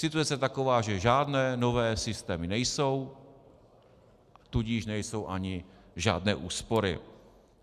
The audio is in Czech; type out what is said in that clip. Situace je taková, že žádné nové systémy nejsou, tudíž nejsou ani žádné úspory.